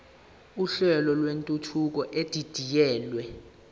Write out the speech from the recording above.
uhlelo lwentuthuko edidiyelwe